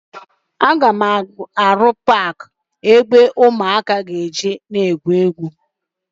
Aga m arụ paakị ụmụaka nwere ike ị jee na ya egwuri egwu ma m rụchaa ụlọ m.